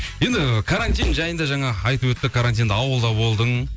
енді карантин жайында жаңа айтып өтті карантинде ауылда болдың